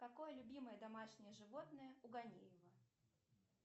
какое любимое домашнее животное у галеева